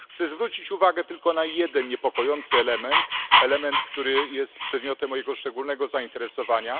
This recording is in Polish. Chcę zwrócić uwagę tylko na jeden niepokojący element, który jest przedmiotem mojego szczególnego zainteresowania.